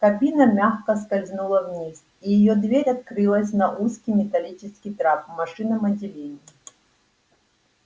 кабина мягко скользнула вниз и её дверь открылась на узкий металлический трап в машинном отделении